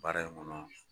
Baara in kɔnɔ